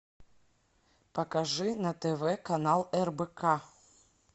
покажи на тв канал рбк